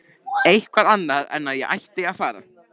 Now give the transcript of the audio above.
Eitthvað annað en að ég ætti að fara.